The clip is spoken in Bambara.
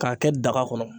K'a kɛ daga kɔnɔ